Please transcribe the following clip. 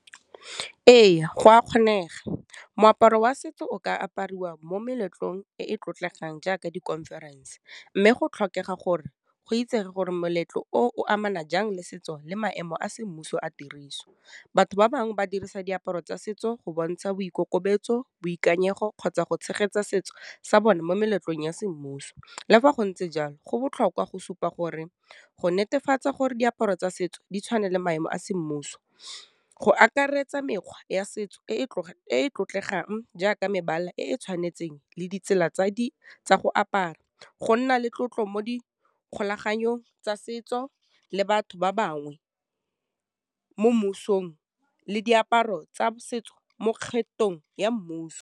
Ee, go a kgonega, moaparo wa setso o ka apariwa mo meletlong e e tlotlegang jaaka di conference, mme go tlhokega gore go itsege gore moletlo o amana jang le setso le maemo a semmuso a tiriso. Batho ba bangwe ba dirisa diaparo tsa setso go bontsha boikokobetso, boikanyego, kgotsa go tshegetsa setso sa bone mo meletlong ya semmuso, le fa go ntse jalo, go botlhokwa go supa gore go netefatsa gore diaparo tsa setso di tshwane le maemo a semmuso, go akaretsa mekgwa ya setso e e tlotlegang jaaka mebala e e tshwanetseng le ditsela tsa go apara, go nna le tlotlo mo di kgolaganong tsa setso, le batho ba bangwe mo mmusong, le diaparo tsa setso mo kgethong ya mmuso.